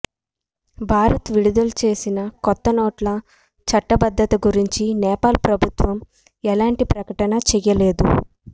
భారత్ విడుదల చేసిన కొత్త నోట్ల చట్టబద్ధత గురించి నేపాల్ ప్రభుత్వం ఎలాంటి ప్రకటన చేయలేదు